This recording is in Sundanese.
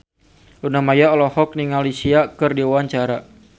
Luna Maya olohok ningali Sia keur diwawancara